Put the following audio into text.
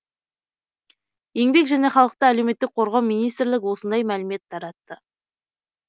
еңбек және халықты әлеуметтік қорғау министрлігі осындай мәлімет таратты